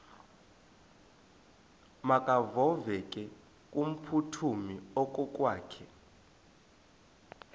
makevovike kumphuthumi okokwakhe